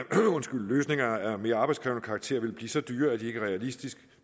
løsninger af mere arbejdskrævende karakter vil blive så dyre at det ikke er realistisk